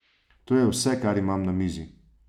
To je vse, kar imam na mizi.